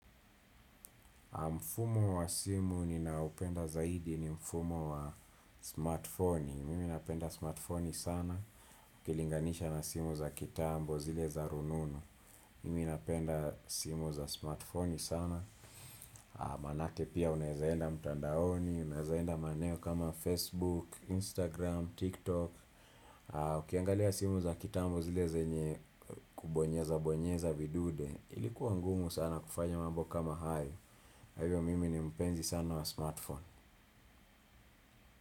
Mfumo wa simu ninaoupenda zaidi ni mfumo wa smartfoni, mimi napenda smartfoni sana, ukilinganisha na simu za kitambo zile za rununu. Mimi napenda simu za smartfoni sana, maanake pia unaezaenda mtandaoni, unaezaenda maneo kama Facebook, Instagram, TikTok. Ukiangalia simu za kitambo zile zenye kubonyeza bonyeza vidude ilikuwa ngumu sana kufanya mambo kama hayo kwa hivyo mimi ni mpenzi sana wa smartphone.